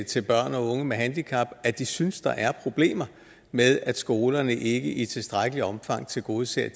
til børn og unge med handicap at de synes der er problemer med at skolerne ikke i tilstrækkeligt omfang tilgodeser